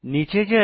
নীচে যাই